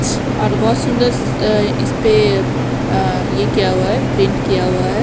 यहा पे बोहोत सुन्दर अ इसमें अ ये किया हुआ है प्रिंट किया हुआ है।